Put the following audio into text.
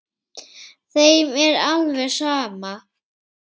Þeim er alveg sama.